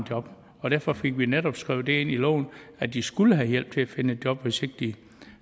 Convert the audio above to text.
job og derfor fik vi netop skrevet ind i loven at de skulle have hjælp til at finde et job hvis ikke de